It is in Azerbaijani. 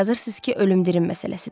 Amma yazırsız ki, ölüm-dirim məsələsidir.